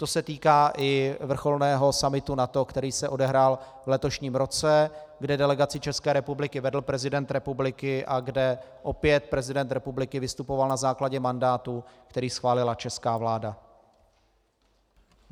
To se týká i vrcholného summitu NATO, který se odehrál v letošním roce, kde delegaci České republiky vedl prezident republiky a kde opět prezident republiky vystupoval na základě mandátu, který schválila česká vláda.